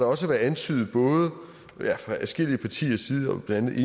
også været antydet fra adskillige partiers side blandt